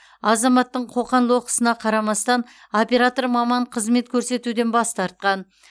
азаматтың қоқан лоққысына қарамастан оператор маман қызмет көрсетуден бас тартқан